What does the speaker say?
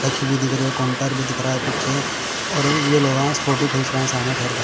रखी हुई दिख रही हैं काउंटर भी दिख रहा हैं पीछे और ये लोगास फोटो खींच रहे हैं सामने ठहर कर--